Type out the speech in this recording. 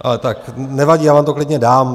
Ale tak nevadí, já vám to klidně dám.